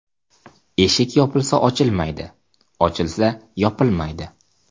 Eshik yopilsa ochilmaydi, ochilsa yopilmaydi.